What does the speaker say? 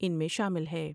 ان میں شامل ہے ۔